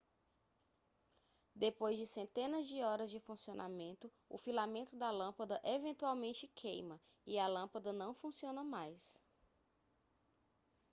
depois de centenas de horas de funcionamento o filamento da lâmpada eventualmente queima e a lâmpada não funciona mais